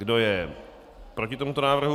Kdo je proti tomuto návrhu?